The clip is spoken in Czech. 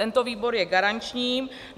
Tento výbor je garanční.